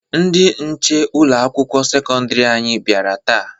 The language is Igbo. Ndị nche ụlọ akwụkwọ sekọndiri anyị bịara taata.